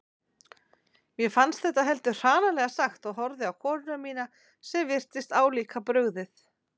Mér fannst þetta heldur hranalega sagt og horfði á konuna mína sem virtist álíka brugðið.